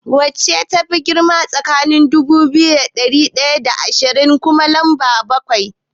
Wacce tafi girma tsakaniin dubu biyu da ɗari ɗaya da shida da kuma lamba bakwai?